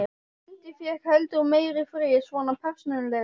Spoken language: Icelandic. Dundi fékk heldur meiri frið, svona persónulega.